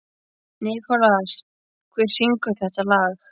Nikolas, hver syngur þetta lag?